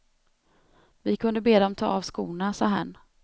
Vi kunde be dem ta av skorna, sa herrn.